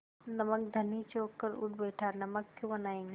नमक धनी चौंक कर उठ बैठा नमक क्यों बनायेंगे